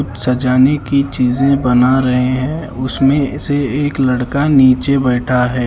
सजाने की चीजे बना रहे हैं उसमें से एक लड़का नीचे बैठा है।